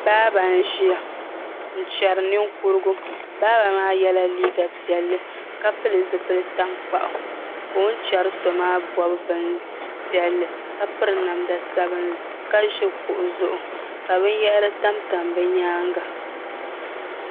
Baaba n ʒiya n chɛri ninkurigu baaba maa yɛla liiga piɛlli ka pili zipili tankpaɣu ka o ni chɛri so maa bob bin piɛlli ka piri namda sabinli ka ʒi kuɣu zuɣu ka binyahari tamtam bi nyaanga